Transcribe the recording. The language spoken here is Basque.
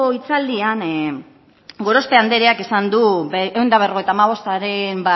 hitzaldian gorospe andereak esan du ehun eta berrogeita hamabostaren